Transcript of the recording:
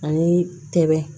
Ani tɛmɛn